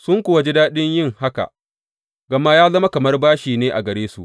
Sun kuwa ji daɗin yin haka, gama ya zama kamar bashi ne a gare su.